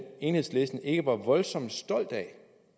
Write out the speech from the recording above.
enhedslisten ikke var voldsomt stolt af